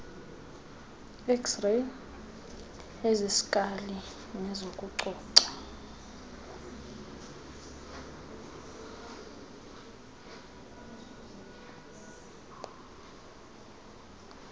xray eziskali nezokucoca